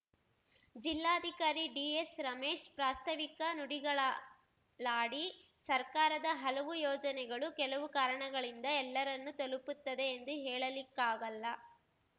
ಜಿಲ್ಲಾಧಿಕಾರಿ ಡಿಎಸ್‌ರಮೇಶ್‌ ಪ್ರಾಸ್ತವಿಕ ನುಡಿಗಳಾಡಿ ಸರ್ಕಾರದ ಹಲವು ಯೋಜನೆಗಳು ಕೆಲವು ಕಾರಣಗಳಿಂದ ಎಲ್ಲರನ್ನೂ ತಲುಪುತ್ತದೆ ಎಂದು ಹೇಳಲಿಕ್ಕಾಗಲ್ಲ